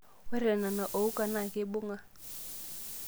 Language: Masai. Ore nena ouka naa keibung'a.